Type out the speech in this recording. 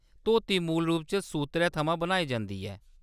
धोती मूल रूप च सूत्तरै थमां बनाई जंदी ऐ।